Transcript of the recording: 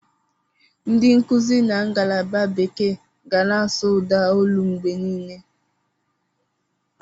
Ndị nkuzi na ngalaba bekee ga na-asụ ụda olu mgbe niile.